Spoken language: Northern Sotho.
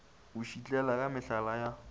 o šitlela ka mehlala ya